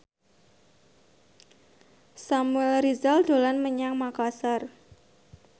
Samuel Rizal dolan menyang Makasar